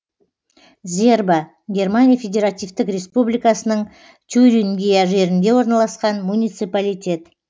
зерба германия федеративтік республикасының тюрингия жерінде орналасқан муниципалитет